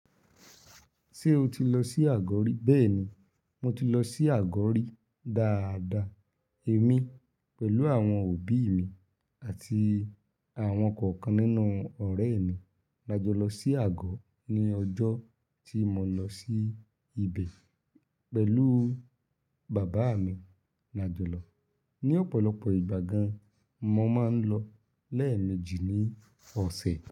Ṣé o ti lọ sí àgọ̀ rí? Bẹ́ẹ̀ni, mo ti lọ sí àgọ̀ rí dáadáa. Èmi pẹ̀lú àwọn òbí mi àti àwọn kọ̀ọ̀kan nínú ọ̀rẹ́ mi la jọ lọ sí àgọ̀ ní ọjọ́ tí mo lọ sí ibẹ̀ pẹ̀lú bàbá mi. Làjọlọ̀ ní ọ̀pọ̀lọpọ̀ ìgbà gan, mo máa ń lọ lẹ́ẹ̀mejì ní ọ̀sẹ̀